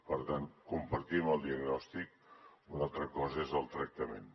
per tant compartim el diagnòstic una altra cosa és el tractament